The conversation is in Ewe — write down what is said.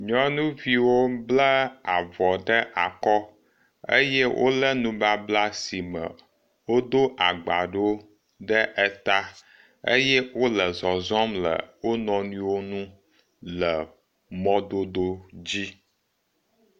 Nyɔnuviwo bla avɔ ɖe akɔ eye wo le nubabla si me wodo agba ɖewo ɖe eta eye wo le zɔzɔm le wo nɔnɔewo nu le mɔdodo dzi.